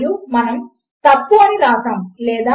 వాటిలో ఏదో ఒకటి ఒప్పు అయితే మీకు సమాధానము చివరకు ఒప్పు అని వస్తుంది